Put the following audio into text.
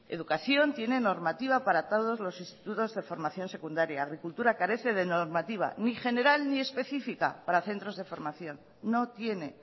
educación tiene normativa para todos los institutos de formación secundaria agricultura carece de normativa ni general ni específica para centros de formación no tiene